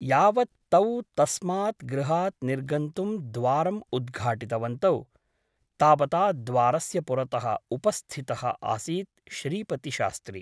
यावत् तौ तस्मात् गृहात् निर्गन्तुं द्वारम् उद्घाटितवन्तौ तावता द्वारस्य पुरतः उपस्थितः आसीत् श्रीपतिशास्त्री ।